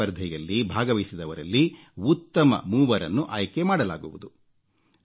ಈ ಸ್ಪರ್ಧೆಯಲ್ಲಿ ಭಾಗವಹಿಸಿದವರಲ್ಲಿ ಉತ್ತಮ ಮೂವರನ್ನು ಆಯ್ಕೆ ಮಾಡಲಾಗುವುದು